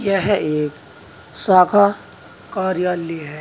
यह एक शाखा कार्यालय है।